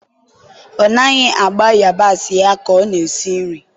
ọ naghị agba yabasị ya ka ọ na-esi nri.